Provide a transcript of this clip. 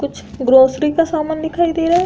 कुछ ग्रोसरी का सामान दिखाई दे रहा है।